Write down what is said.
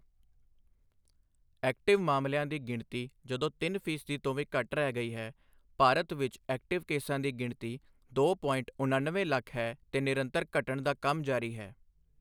Active ਮਾਮਲਿਆਂ ਦੀ ਗਿਣਤੀ ਜਦੋਂ ਤਿੰਨ ਫੀਸਦ ਤੋਂ ਵੀ ਘੱਟ ਰਹਿ ਗਈ ਹੈ, ਭਾਰਤ ਵਿੱਚ ਐਕਟਿਵ ਕੇਸਾਂ ਦੀ ਗਿਣਤੀ ਦੋ ਪੋਇੰਟ ਉਣਨਵੇਂ ਲੱਖ ਹੈ ਤੇ ਨਿਰੰਤਰ ਘੱਟਣ ਦਾ ਕੰਮ ਜਾਰੀ ਹੈ।